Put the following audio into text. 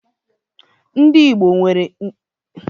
Ndi Igbo nwere udi ihe oyiyi na ejiji di iche iche